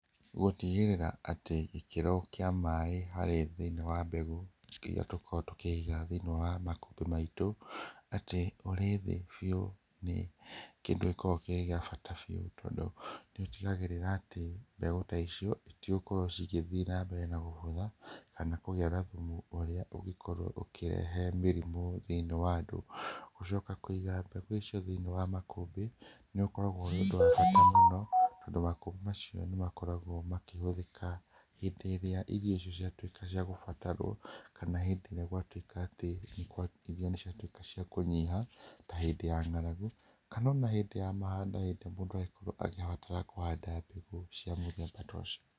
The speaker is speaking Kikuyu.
Gũtigĩrĩra atĩ gĩkĩro kĩa maĩ harĩ thĩinĩ wa mbegũ iria tũkoragwo tũkĩiga thĩinĩ wa makũmbĩ maitũ atĩ ũrĩ thĩ biũ nĩ kĩndũ gĩkoragwo kĩrĩ gĩa bata biũ tondũ nĩ ũtigagĩrĩra atĩ mbegũ ta icio itigũkorwo cigĩthiĩ nambere na gũbutha kana kũgĩa na thumu ũrĩa ũngĩkorwo ũkĩrehe mĩrimũ thĩinĩ wa andũ. Gũcoka kũiga mbegũ icio thĩinĩ wa makũmbĩ, nĩ ũkoragwo ũrĩ ũndũ wa bata mũno tondũ makũmbĩ macio nĩ makoragwo makĩhũthĩka hĩndĩ ĩrĩa irio icio ciatuĩka cia kũbatarwo kana hĩndĩ ĩrĩa gwatuĩka atĩ irio nĩ ciatuĩka cia kũnyiha ta hĩndĩ ya ng'aragu kana ona hĩndĩ ya mahanda hĩndĩ mũndũ angĩkorwo agĩbatara kũhanda mbegũ cia mũthemba tocio.